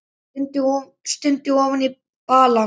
Stundi ofan í balann.